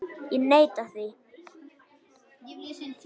Ég neitaði því.